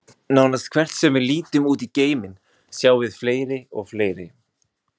Nánast hvert sem við lítum út í geiminn, sjáum við fleiri og fleiri.